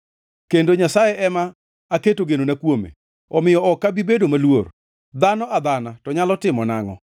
kendo Nyasaye ema aketo genona kuome; omiyo ok abi bedo maluor. Dhano adhana to nyalo timona angʼo?